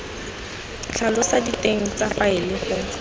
tlhalosa diteng tsa faele go